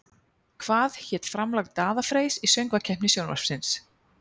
Hvað hét framlag Daða Freys í Söngvakeppni Sjónvarpsins?